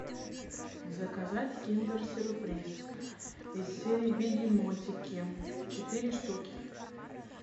заказать киндер сюрприз из серии бегемотики четыре штуки